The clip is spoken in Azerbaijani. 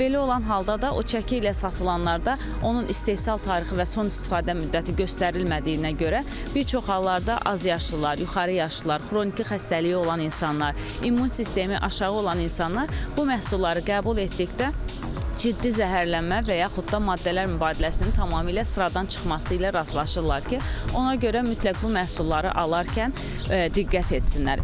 Və belə olan halda da o çəki ilə satılanlarda onun istehsal tarixi və son istifadə müddəti göstərilmədiyinə görə bir çox hallarda azyaşlılar, yuxarı yaşlılar, xroniki xəstəliyi olan insanlar, immun sistemi aşağı olan insanlar bu məhsulları qəbul etdikdə ciddi zəhərlənmə və yaxud da maddələr mübadiləsinin tamamilə sıradan çıxması ilə rastlaşırlar ki, ona görə mütləq bu məhsulları alarkən diqqət etsinlər.